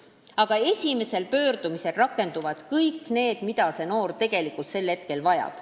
Aga esimesel pöördumisel rakenduvad kõik need meetmed, mida noor sel hetkel vajab.